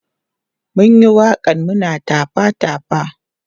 mun Yi waƙan muna tafa tafa